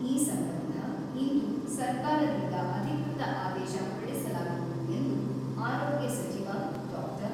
ಈ ಸಂಬಂಧ ಇಂದು ಸರ್ಕಾರದಿಂದ ಅಧಿಕೃತ ಆದೇಶ ಹೊರಡಿಸಲಾಗುವುದು ಎಂದು ಆರೋಗ್ಯ ಸಚಿವ ಡಾ.